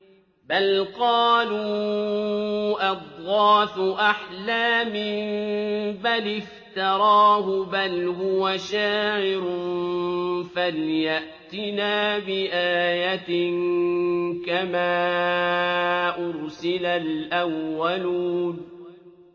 بَلْ قَالُوا أَضْغَاثُ أَحْلَامٍ بَلِ افْتَرَاهُ بَلْ هُوَ شَاعِرٌ فَلْيَأْتِنَا بِآيَةٍ كَمَا أُرْسِلَ الْأَوَّلُونَ